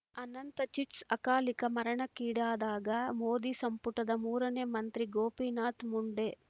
ಅನಂತ ಚಿಟ್ಸ್ ಅಕಾಲಿಕ ಮರಣಕ್ಕೀಡಾದ ಮೋದಿ ಸಂಪುಟದ ಮೂರನೇ ಮಂತ್ರಿ ಗೋಪಿನಾಥ ಮುಂಡೆ